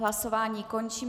Hlasování končím.